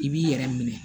I b'i yɛrɛ minɛ